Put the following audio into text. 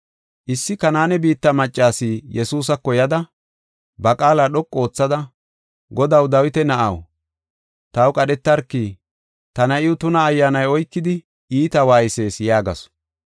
Issi Kanaane biitta maccas Yesuusako yada, ba qaala dhoqu oothada, “Godaw, Dawita na7aw, taw qadhetarki; ta na7iw tuna ayyaanay oykidi iita waaysees” yaagasu.